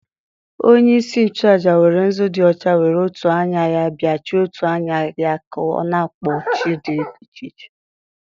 onye-isi-nchu-àjà were nzu di ọcha were otù anya-ya b͕achie otù anya-ya ka ọ nākpọku chi di iche iche.